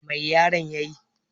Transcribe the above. Mai yaron ya yi?